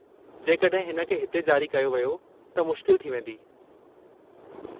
जेकड॒हिं इन खे हिते जारी कयो वियो त मुश्किल थी वेंदी।